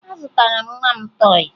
Azụtara m nwa m tọọyị